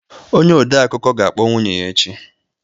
Onye odeakụkọ ga-akpọ nwunye ya echi